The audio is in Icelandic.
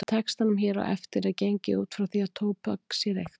Í textanum hér á eftir er gengið út frá því að tóbak sé reykt.